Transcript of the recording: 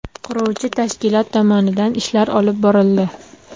Quruvchi tashkilot tomonidan ishlar olib borildi.